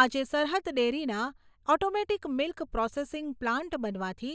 આજે સરહદ ડેરીના ઓટોમેટીક મીલ્ક પ્રોસેસીંગ પ્લાન્ટ બનવાથી